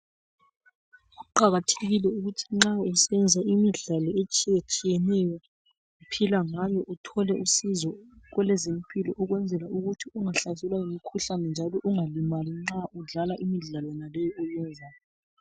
Kuqakathekile ukuthi nxa usenza imidlalo etshiyetshiyeneyo, uphila ngayo, uthole usizo kwelezempilo ukwenzela ukuthi ungahlaselwa yimkhuhlane njalo ungalimali nxa udlala imidlalo yonale oyenzayo.